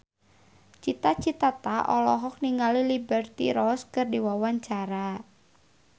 Cita Citata olohok ningali Liberty Ross keur diwawancara